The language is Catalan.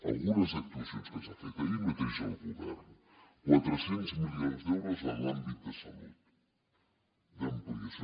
algunes actuacions que s’han fet ahir mateix al govern quatre cents milions d’euros en l’àmbit de salut d’ampliació